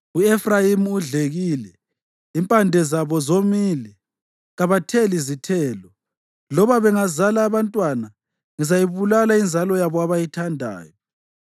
U-Efrayimi udlekile, impande zabo zomile, kabatheli zithelo. Loba bengazala abantwana, ngizayibulala inzalo yabo abayithandayo.”